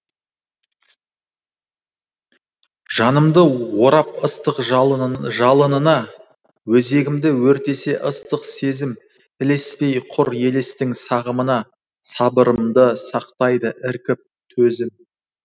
жанымды орап ыстық жалынына өзегімді өртесе ыстық сезім ілеспей құр елестің сағымына сабырымды сақтайды іркіп төзім